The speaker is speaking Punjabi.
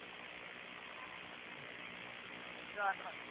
ਚਾਰ ਸੌ।